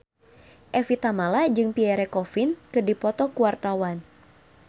Evie Tamala jeung Pierre Coffin keur dipoto ku wartawan